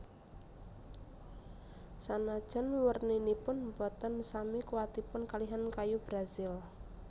Sanajan werninipun boten sami kuwatipun kalihan kayu brazil